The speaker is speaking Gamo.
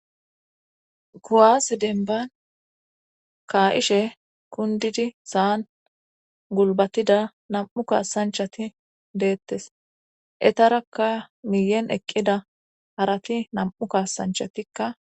kuwaas denban kaa7ishe kundidi saan gulbatida nam7u kaasanchati deettes etarakka miyen eqqida harati nam7u kaasanchatikka